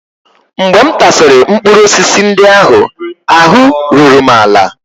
Mgbe m tasịrị mkpụrụ osisi ndị ahụ, ahụ́ ruru m ala